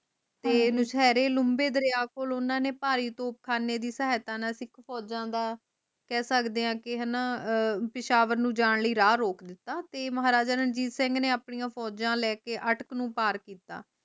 ਤੇ ਨੁਸ਼ਹਿਰੇ ਲੰਬੇ ਦਰਿਆ ਕੋਲ ਓਹਨਾ ਭਾਰੀ ਤੁਪ ਖਾਣੇ ਦੀ ਸਾਹਿਤਾ ਨਾਲ ਸਿੱਖ ਫੋਜਾ ਦਾ ਕਹਿ ਸਕਦੇ ਹਾਂ ਕਿ ਹਣਾ ਪੇਸ਼ਾਵਰ ਨੂੰ ਜਾਨ ਲਯੀ ਰਾਹ ਰੋਕ ਲੀਤਾ ਤੇ ਮਹਾਰਾਜਾ ਰਣਜੀਤ ਸਿੰਘ ਨੇ ਆਪਣੀ ਫੋਜਾ ਲੈਕੇ ਅਟਕ ਨੂੰ ਪਾਰ ਕੀਤਾ